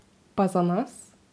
Pa za nas?